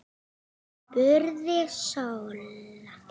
spurði Solla.